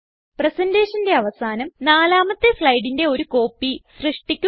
presentationന്റെ അവസാനം നാലാമത്തെ സ്ലൈഡിന്റെ ഒരു കോപ്പി സൃഷ്ടിക്കുക